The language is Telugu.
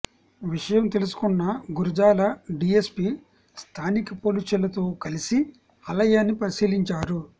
విషయం తెలుసుకున్న గురజాల డీఎస్పీ స్థానిక పోలీసులతో కలిసి ఆలయాన్ని పరిశీలించారు